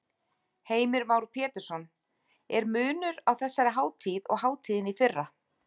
Heimir Már Pétursson: Er munur á þessari hátíð og hátíðinni í fyrra?